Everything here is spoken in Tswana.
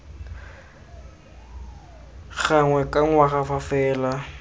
gangwe ka ngwaga fa fela